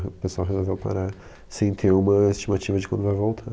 O pessoal resolveu parar sem ter uma estimativa de quando vai voltar.